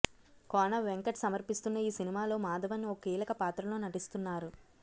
కోనవెంకట్ సమర్పిస్తున్న ఈ సినిమాలో మాధవన్ ఓ కీలక పాత్రలో నటిస్తున్నారు